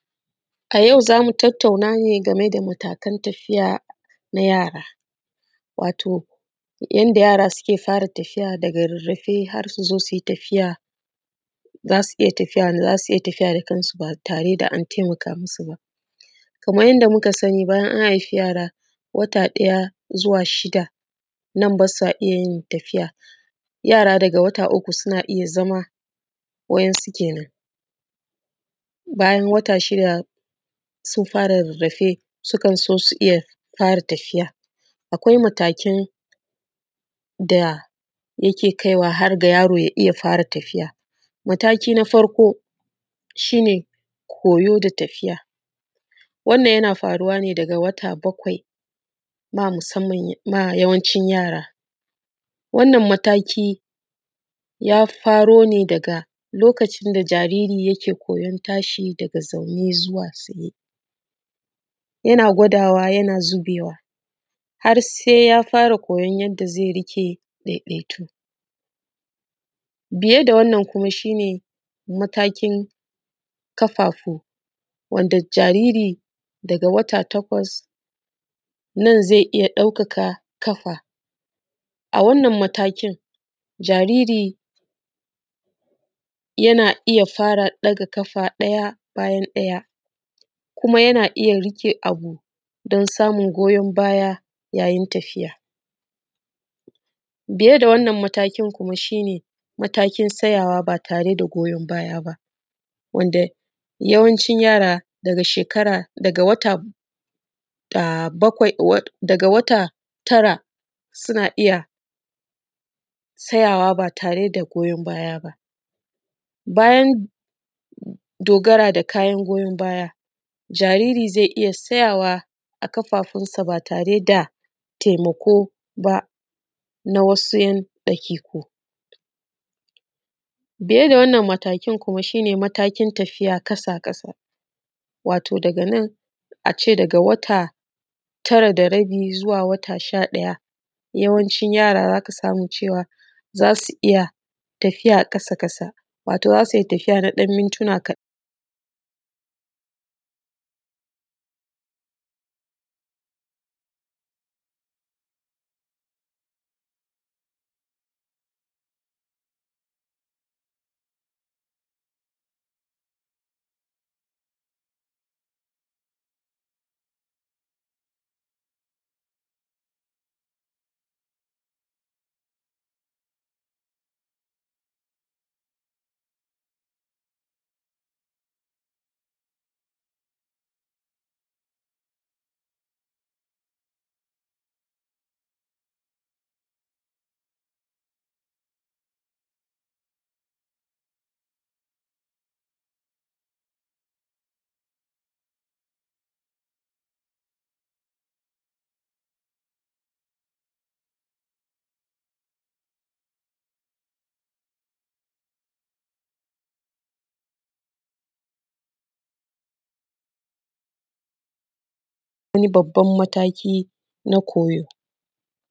A yau za mu tattauna ne game da matakan tafiya na yara. Yanda yara suke fara tafiya daga rarrafe har su zo su fara tafiya. Za su iya tafiya da kansu ba tare da an taimaka masu ba, kaman yanda muka sani, bayan an haife yara wata ɗaya zuwa shida ba sa iya yin tafiya. Yara daga wata uku suna iya zama wa’insu kenan, bayan wata shida sun fara rarrafe, su kan so su fara iya tafiya. Akwai matakan da yake kaiwa har ga yaro ya iya fara tafiya. Mataki na farko shi ne koyo da tafiya wannan yana faruwa daga wata bakwai ma musamman yawanci yara. Wannan mataki ya faro ne daga lokacin da jariri yake koyan tashi daga zaune zuwa tsaye, yana gwadawa yana zubewa har sai ya fara koyan yanda zai riƙe ya daidaitu. Biye da wannan kuma shi ne matakin ƙafafu wanda jaririn daga wata takwas nan zai iya ɗaukaka ƙafa. A wannan matakin jaririn yana iya fara ɗaga ƙafa ɗaya bayan ɗaya kuma yana iya riƙe abu don samun goyan baya yayin tafiya. Biye da wannan matakin kuma shi ne matakin tsayawa ba tare da goyon baya ba. Yawancin yara daga wata tara suna iya tsayawa ba tare da goyan baya ba, bayan dogara da kayan goyan baya jariri zai iya tsayawa da ƙafafunsa ba tare da taimako ba na wasu daƙiƙu. Biye da wa’innan matakin kuma shi ne matakin tafiya ƙasa ƙasa wato daga nan a ce daga wata tara da rabi zuwa wata sha ɗaya yawancin yara za ka samu cewa za su iya tafiya ƙasa ƙasa, wato za su iya tafiya na mintuna kaɗan.